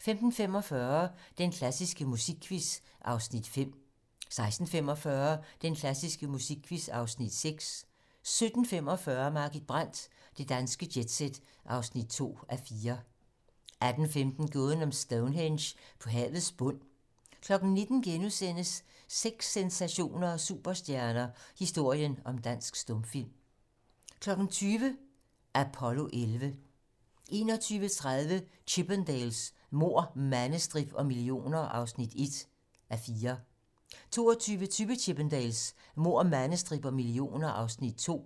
15:45: Den klassiske musikquiz (Afs. 5) 16:45: Den klassiske musikquiz (Afs. 6) 17:45: Margit Brandt - Det danske jet-set (2:4) 18:15: Gåden om Stonehenge på havets bund 19:00: Sex, sensationer og superstjerner - Historien om dansk stumfilm * 20:00: Apollo 11 21:30: Chippendales: Mord, mandestrip og millioner (1:4) 22:20: Chippendales: Mord, mandestrip og millioner (2:4)